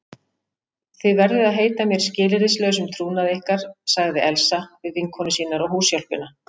Þið verðið að heita mér skilyrðislausum trúnaði ykkar sagði Elsa við vinkonur sínar og húshjálpina.